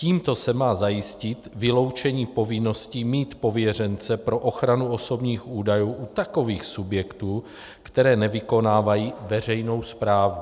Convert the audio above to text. Tímto se má zajistit vyloučení povinnosti mít pověřence pro ochranu osobních údajů u takových subjektů, které nevykonávají veřejnou správu.